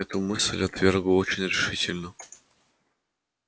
эту мысль кэтлин отвергла очень решительно